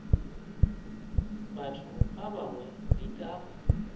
batho ba bangwe di ka